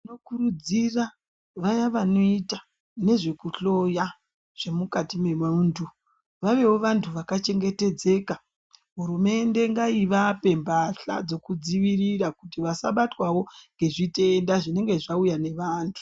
Tinokurudzira vaya vanoita nezvekuhloya zvemukati memunthu vaveo vanthu vakachengetedzeka hurumende ngaivapeo mbahla dzekudzivirira kuti vasabatwao nezvitenda zvinenge zvauya nevanthu.